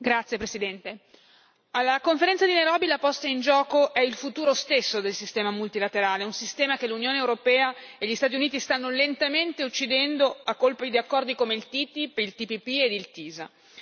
Signor Presidente, onorevoli colleghi, alla conferenza di Nairobi la posta in gioco è il futuro stesso del sistema multilaterale. Un sistema che l'Unione europea e gli Stati Uniti stanno lentamente uccidendo a colpi di accordi come il TTIP, il TPP e il TiSA.